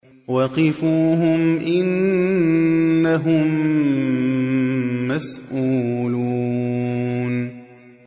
وَقِفُوهُمْ ۖ إِنَّهُم مَّسْئُولُونَ